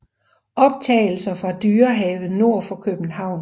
Optagelser fra Dyrehaven nord for København